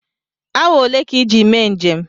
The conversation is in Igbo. Awa olee ka iji mee njem?